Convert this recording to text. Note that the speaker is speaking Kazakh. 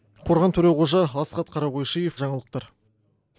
қорған төреқожа асхат қарақойшиев жаңалықтар